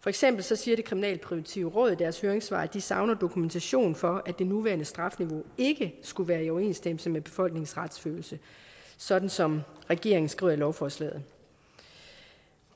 for eksempel siger det kriminalpræventive råd i deres høringssvar at de savner dokumentation for at det nuværende strafniveau ikke skulle være i overensstemmelse med befolkningens retsfølelse sådan som regeringen skriver i lovforslaget